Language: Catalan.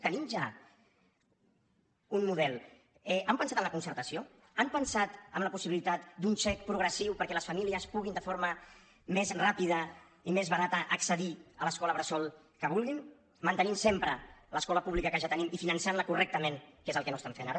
tenim ja un model han pensat en la concertació han pensat en la possibilitat d’un xec progressiu perquè les famílies puguin de forma més ràpida i més barata accedir a l’escola bressol que vulguin mantenint sempre l’escola pública que ja tenim i finançant la correctament que és el que no fan ara